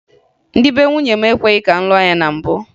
Ndị be nwunye m ekwebughi ka m lụọ ya na mbụ